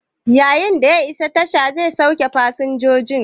Yayin da ya iso, a tasha zai sauke fasinjojin.